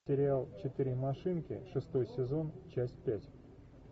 сериал четыре машинки шестой сезон часть пять